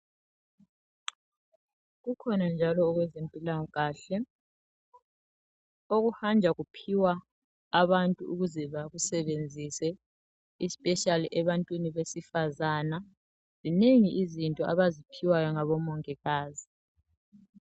Kukhona njalo okwezempilakahle okuhanja kuphiwa abantu ukuze bakusebenzise isipeshali ebantwini besifazana zinengi izinto abaziphiwa ngaboMongikazi.